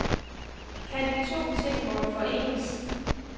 Kan de to ting mon forenes?